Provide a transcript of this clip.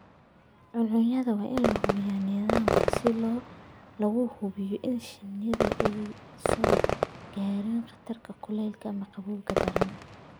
Cuncunyadu waa inay lahaadaan nidaamyo lagu hubinayo in shinnidu aanay soo gaadhin khatarta kulaylka daran ama qabowga daran.